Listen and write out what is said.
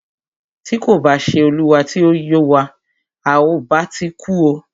Tí kò bá ṣé olúwa tí o yọ wa,à o bá ti kú o.